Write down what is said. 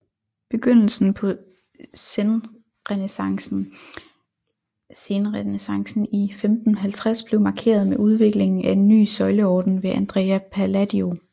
Begyndelsen på senrenæssancen i 1550 blev markeret med udviklingen af en ny søjleorden ved Andrea Palladio